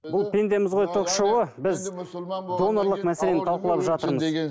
бұл пендеміз ғой ток шоуы біз донорлық мәселені талқылап жатырмыз